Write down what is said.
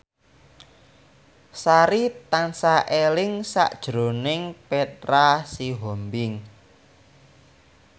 Sari tansah eling sakjroning Petra Sihombing